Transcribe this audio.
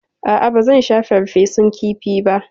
A'a, ba zan sha farfesun kifi ba.